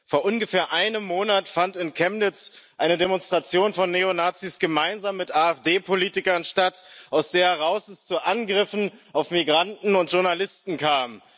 Vor ungefähr einem Monat fand in Chemnitz eine Demonstration von Neonazis gemeinsam mit AfD Politikern statt, aus der heraus es zu Angriffen auf Migranten und Journalisten kam.